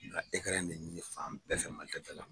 N ka in ne ɲini fan bɛɛ fɛ Malitɛlida la.